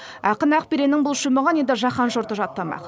ақын ақбереннің бұл шумағын енді жаһан жұрты жаттамақ